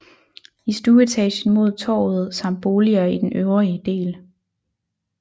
I stueetagen mod Torvet samt boliger i den øvrige del